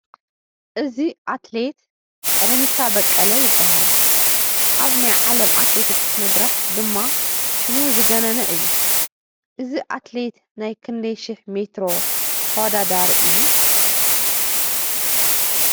እዚ ኣትሌት ቀነኒሳ በቀለ ይበሃል፡፡ ኣብ ናይ ዓለም ኣትሌቲክስ መድረኽ ድማ ሽሙ ዝገነነ እዩ፡፡ እዚ ኣትሌት ናይ ክንደይ ሽሕ ሜትሮ ተወዳዳሪ እዩ?